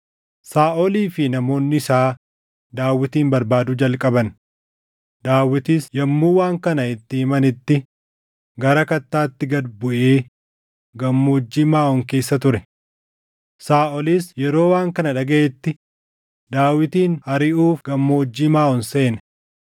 Saaʼolii fi namoonni isaa Daawitin barbaaduu jalqaban; Daawitis yommuu waan kana itti himanitti gara kattaatti gad buʼee Gammoojjii Maaʼoon keessa ture. Saaʼolis yeroo waan kana dhagaʼetti Daawitin ariʼuuf Gammoojjii Maaʼoon seene.